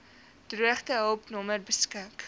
droogtehulp nommer beskik